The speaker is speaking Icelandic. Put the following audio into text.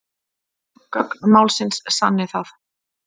Gögn málsins sanni það